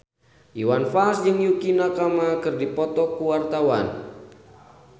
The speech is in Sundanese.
Iwan Fals jeung Yukie Nakama keur dipoto ku wartawan